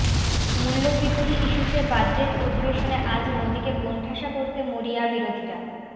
মূল্যবৃদ্ধি ইস্যুতে বাজেট অধিবেশনে আজ মোদীকে কোণঠাসা করতে মরিয়া বিরোধীরা